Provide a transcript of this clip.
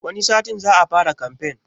Wani satin za a fara kamfen